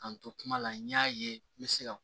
K'an to kuma la n y'a ye n bɛ se ka